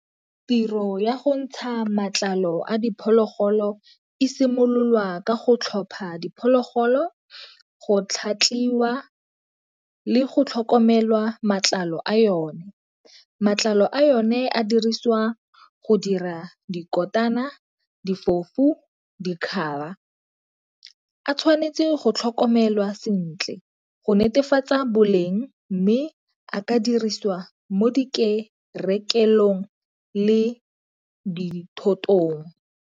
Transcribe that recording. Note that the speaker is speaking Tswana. Tiro ya go ntsha matlalo a diphologolo e simololwa ka go tlhopha diphologolo, go tlhatlhiwa, le go tlhokomelwa matlalo a yone. Matlalo a yone a diriswa go dira dikonyana, difofu, . A tshwanetse go tlhokomelwa sentle go netefatsa boleng, mme a ka dirisiwa mo di le dithotong.